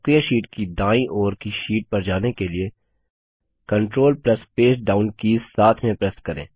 सक्रिय शीट की दाईं ओर की शीट पर जाने के लिए control plus page down keys साथ में प्रेस करें